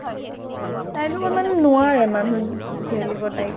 তাইৰ লগত মানে নোৱাৰে মানুহ উম তাইক।